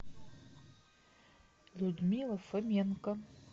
людмила фоменко